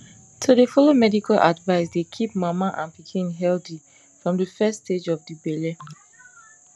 to dey follow medical advice dey keep mama and pikin healthy from de first stage of de belle